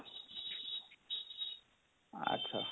ଆଚ୍ଛା?